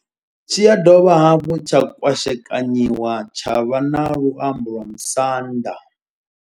Tshi ya dovha hafhu tsha kwashekanyiwa tsha vha na luambo lwa musanda.